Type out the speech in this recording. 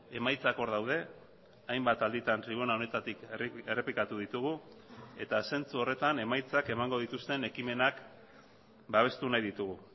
emaitzak hor daude hainbat alditan tribuna honetatik errepikatu ditugu eta zentzu horretan emaitzak emango dituzten ekimenak babestu nahi ditugu